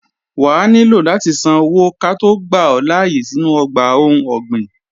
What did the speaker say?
Wà á nílò láti san owó ká tó gbà ọ́ láyé sínú ọgbà ohun ọ̀gbìn